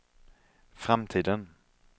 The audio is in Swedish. framtiden